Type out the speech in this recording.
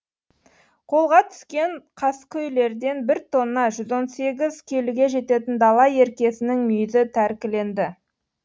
қолға түскен қаскөйлерден бір тонна жүз он сегіз келіге жететін дала еркесінің мүйізі тәркіленді